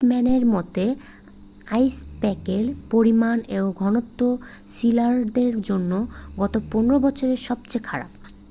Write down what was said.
পিটম্যানের মতে আইসপ্যাকের পরিমাণ ও ঘনত্ব সিলারদের জন্য গত15 বছরে সবচেয়ে খারাপ